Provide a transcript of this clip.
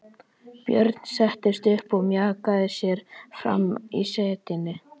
Björn settist upp og mjakaði sér fram í setinu.